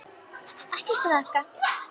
Ekkert að þakka